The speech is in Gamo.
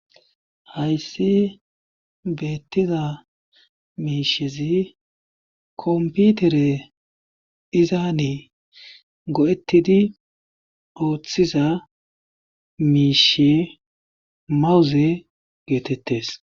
hayssi beettiza miishezi komputere dizaane go7ettidi ooththiza miishe mawuze geetettes